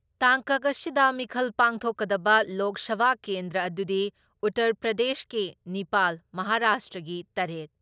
ꯇꯥꯡꯀꯛ ꯑꯁꯤꯗ ꯃꯤꯈꯜ ꯄꯥꯡꯊꯣꯛꯀꯗꯕ ꯂꯣꯛ ꯁꯚꯥ ꯀꯦꯟꯗ꯭ꯔ ꯑꯗꯨꯗꯤ ꯎꯇꯔ ꯄ꯭ꯔꯗꯦꯁꯀꯤ ꯅꯤꯄꯥꯜ, ꯃꯍꯥꯔꯥꯁꯇ꯭ꯔꯥꯒꯤ ꯇꯔꯦꯠ,